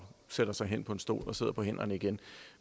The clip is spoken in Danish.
sætter sig hen på en stol og sidder på hænderne igen